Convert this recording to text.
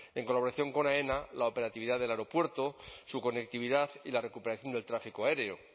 en colaboración con aena la operatividad del aeropuerto su conectividad y la recuperación del tráfico aéreo